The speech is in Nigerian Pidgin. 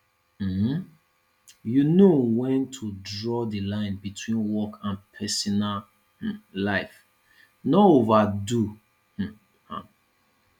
um know when to draw di line between work and personal um life no overdo um am